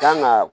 Kan ga